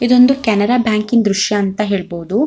ಇದೊಂದು ಕೆನರಾ ಬ್ಯಾಂಕಿ ನ್ ದೃಶ್ಯ ಅಂತ ಹೇಳಬಹುದು.